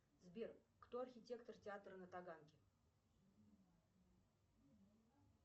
сбер кто архитектор театра на таганке